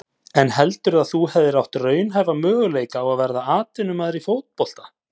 En heldurðu að þú hefðir átt raunhæfa möguleika á að verða atvinnumaður í fótbolta?